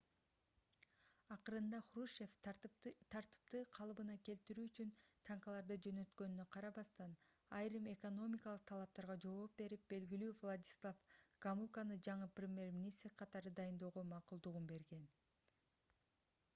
акырында хрущев тартипти калыбына келтирүү үчүн танкаларды жөнөткөнүнө карабастан айрым экономикалык талаптарга жол берип белгилүү владислав гомулканы жаңы премьер-министр катары дайындоого макулдугун берген